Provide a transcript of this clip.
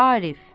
Arif.